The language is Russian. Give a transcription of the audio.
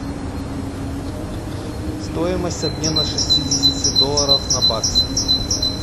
стоимость обмена шестидесяти долларов на бакс